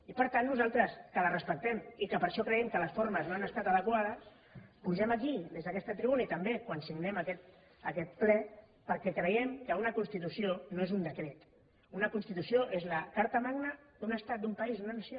i per tant nosaltres que la respectem i que per això creiem que les formes no han estat adequades pugem aquí des d’aquesta tribuna i també quan signem aquest ple perquè creiem que una constitució no és un decret una constitució és la carta magna d’un estat d’un país d’una nació